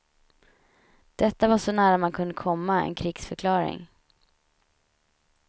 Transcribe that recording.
Detta var så nära man kunde komma en krigsförklaring.